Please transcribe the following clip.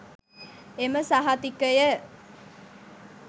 එම සහතිකය